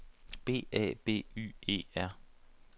B A B Y E R